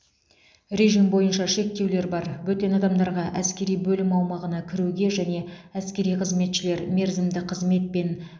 режим бойынша шектеулер бар бөтен адамдарға әскери бөлім аумағына кіруге және әскери қызметшілер мерзімді қызметпен